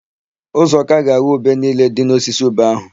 Uzọka ga-aghọ ube niile dị n'osisi ube áhụ̀.